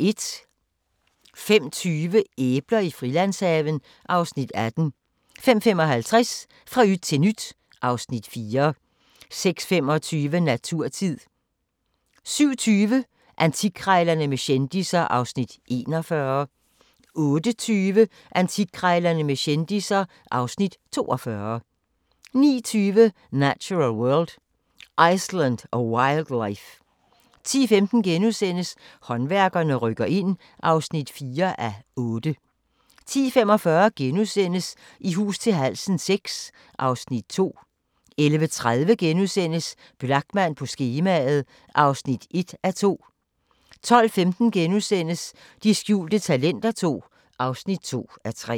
05:20: Æbler i Frilandshaven (Afs. 18) 05:55: Fra yt til nyt (Afs. 4) 06:25: Naturtid 07:20: Antikkrejlerne med kendisser (Afs. 41) 08:20: Antikkrejlerne med kendisser (Afs. 42) 09:20: Natural World: Iceland a wild life 10:15: Håndværkerne rykker ind (4:8)* 10:45: I hus til halsen VI (Afs. 2)* 11:30: Blachman på skemaet (1:2)* 12:15: De skjulte talenter II (2:3)*